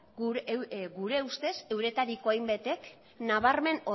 gure ustez euretariko hainbatek nabarmen